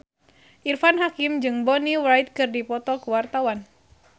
Irfan Hakim jeung Bonnie Wright keur dipoto ku wartawan